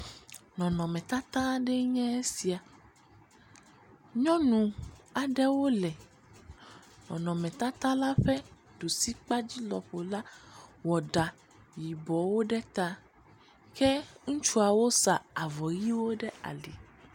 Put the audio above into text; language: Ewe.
Nɔnɔmetata aɖee nye esia, nyɔnu aɖewo nɔ nɔnɔmetata ƒe ɖusikpa dzi lɔƒo la wɔ ɖa yibɔwo ɖe ta, ke ŋutsuawo wosa avɔ ʋiwo ɖe ali.